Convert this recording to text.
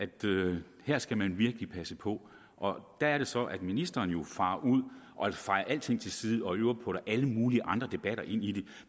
her skal man virkelig passe på der er det så at ministeren jo farer ud og fejer alting til side og i øvrigt putter alle mulige andre debatter ind i det